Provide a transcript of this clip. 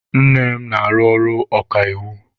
Nne m na-arụ ọrụ okaiwu.